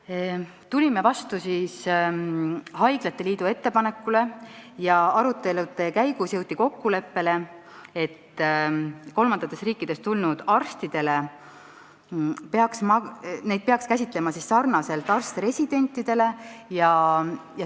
Me tulime vastu haiglate liidule ja arutelude käigus jõudsime kokkuleppele, et kolmandatest riikidest tulnud arste peaks käsitlema samamoodi nagu arst-residente.